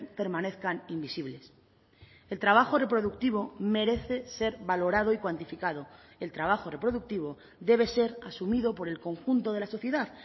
permanezcan invisibles el trabajo reproductivo merece ser valorado y cuantificado el trabajo reproductivo debe ser asumido por el conjunto de la sociedad